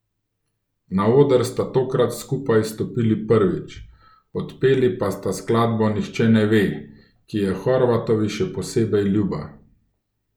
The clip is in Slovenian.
Na oder sta tokrat skupaj stopili prvič, odpeli pa sta skladbo Nihče ne ve, ki je Horvatovi še posebej ljuba.